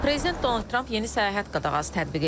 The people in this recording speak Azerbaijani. Prezident Donald Trump yeni səyahət qadağası tətbiq edib.